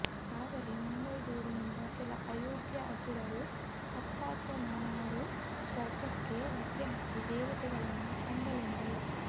ಆದರೆ ಮುಂಗೈಜೋರಿನಿಂದ ಕೆಲ ಅಯೋಗ್ಯ ಅಸುರರೂ ಅಪಾತ್ರ ಮಾನವರೂ ಸ್ವರ್ಗಕ್ಕೆ ಲಗ್ಗೆ ಹತ್ತಿ ದೇವತೆಗಳನ್ನು ಅಂಡಲೆದರು